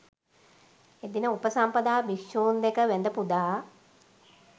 එදින උපසම්පදා භික්‍ෂූන් දැක වැඳ පුදා